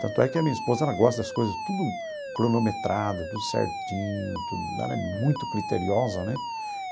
Tanto é que a minha esposa ela gosta das coisas tudo cronometrada, tudo certinho, tudo ela é muito criteriosa, né?